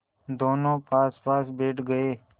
दोेनों पासपास बैठ गए